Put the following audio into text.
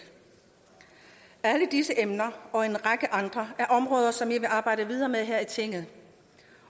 alle disse emner og en række andre er områder som vi vil arbejde videre med her i tinget